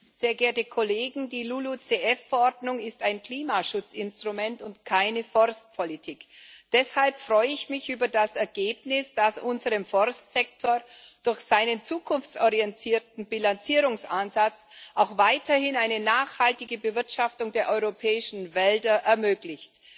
Herr Präsident, sehr geehrte Kollegen! Die LULUCF Verordnung ist ein Klimaschutzinstrument und keine Forstpolitik. Deshalb freue ich mich über das Ergebnis, das unserem Forstsektor durch seinen zukunftsorientierten Bilanzierungsansatz auch weiterhin eine nachhaltige Bewirtschaftung der europäischen Wälder ermöglicht.